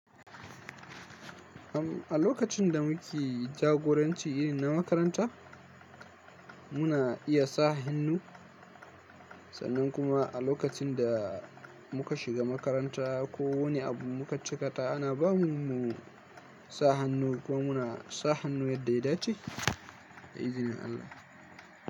Am a lokacin da muke jagoranci irin na makaranta, muna iya sa hannu sannan kuma a lokacin da muka shiga makaranta ko wani abu muka cika ta ana ba mu mu sa hannu ko muna sa hannu yadda ya dace da izinin Allah.